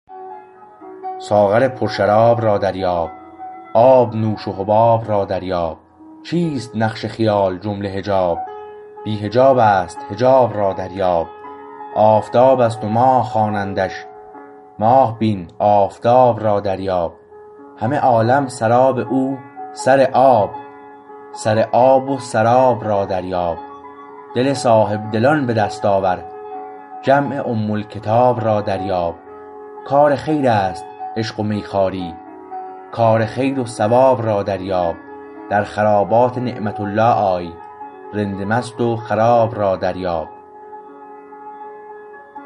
ساغر پر شراب را دریاب آب نوش و حباب را دریاب چیست نقش خیال جمله حجاب بی حجابست حجاب را دریاب آفتاب است و ماه خوانندش ماه بین آفتاب را دریاب همه عالم سراب او سر آب سر آب و سراب را دریاب دل صاحبدلان به دست آور جمع ام الکتاب را دریاب کار خیر است عشق و میخواری کار خیر و ثواب را دریاب در خرابات نعمت الله آی رند مست و خراب را دریاب